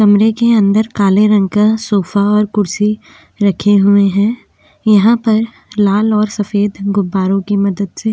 कमरे के अंदर काले रंग का सोफा और कुर्सी रखे हुए है यहाँ पर लाल और सफेद गुब्बारों की मदद से --